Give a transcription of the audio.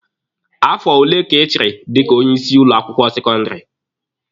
Afo ole ka ị chịrị dika onye isi ụlọ akwụkwọ sekọndịrị?